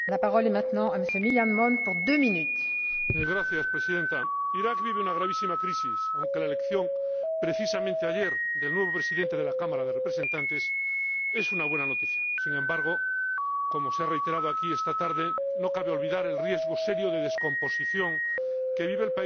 Señora Presidenta, Irak vive una gravísima crisis, aunque la elección, precisamente ayer, del nuevo Presidente del Consejo de Representantes es una buena noticia. Sin embargo, como se ha reiterado aquí esta tarde, no cabe olvidar el riesgo serio de descomposición que vive el país por la intervención armada del grupo llamado